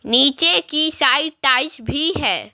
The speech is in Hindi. नीचे की साइड टाइज भी है।